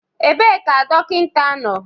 Ebee ka dọkịta nọ?